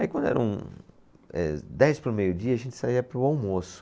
Aí quando era um, eh dez para o meio-dia a gente saía para o almoço.